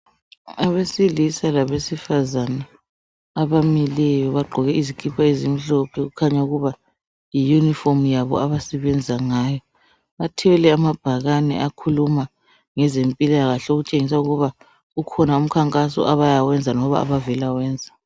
Abesilisa labesifazana abamileyo bagqoke izikipa ezimhlophe okukhanya ukuba yi yunifomu yabo abasebenza ngayo. Bathwele amabhakani akhuluma ngezempilakahle okutshengisa ukuba kukhona umkhankaso abayawenza loba abavela wenza.